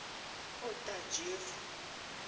otajevo